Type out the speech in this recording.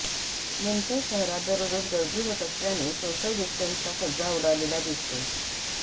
मंचर शहरात दररोज गर्दी होत असल्याने सोशल डिस्टन्सचा फज्जा उडालेला दिसतो